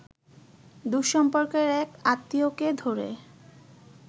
দূরসম্পর্কের এক আত্মীয়কে ধরে